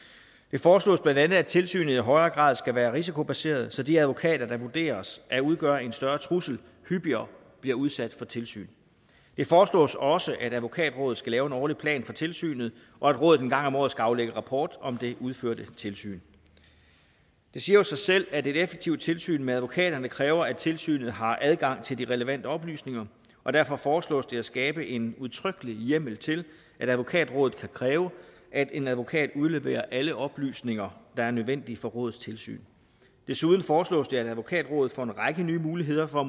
foreslås bla at tilsynet i højere grad skal være risikobaseret så de advokater der vurderes at udgøre en større trussel hyppigere bliver udsat for tilsyn det foreslås også at advokatrådet skal lave en årlig plan for tilsynet og at rådet en gang om året skal aflægge rapport om det udførte tilsyn det siger jo sig selv at et effektivt tilsyn med advokaterne kræver at tilsynet har adgang til de relevante oplysninger og derfor foreslås det at skabe en udtrykkelig hjemmel til at advokatrådet kan kræve at en advokat udleverer alle oplysninger der er nødvendige for rådets tilsyn desuden foreslås det at advokatrådet får en række nye muligheder for